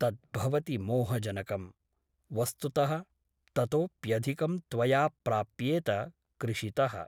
तत् भवति मोहजनकम् । वस्तुतः ततोऽप्यधिकं त्वया प्राप्येत कृषितः ।